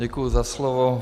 Děkuju za slovo.